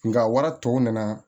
Nka wala tɔw nana